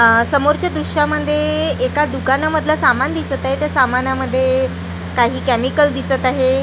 आह समोरच्या दृश्यामध्ये एका दुकानामधलं सामान दिसत आहे त्या सामनामध्ये काही केमिकल दिसत आहे .